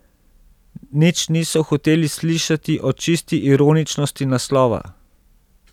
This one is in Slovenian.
Nič niso hoteli slišati o čisti ironičnosti naslova ...